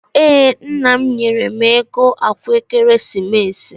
Ee, nna m nyere m ego akwa ekeresimesi.